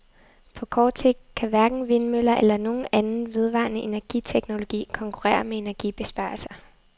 På kort sigt kan hverken vindmøller eller nogen anden vedvarende energiteknologi konkurrere med energibesparelser.